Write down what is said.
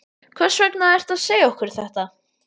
Hvers vegna ertu að segja okkur þetta?